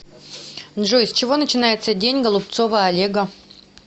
джой с чего начинается день голубцова олега